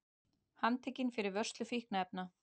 Handtekinn fyrir vörslu fíkniefna